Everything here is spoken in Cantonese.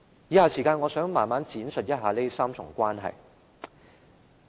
以下時間，我想慢慢闡述一下這3重關係。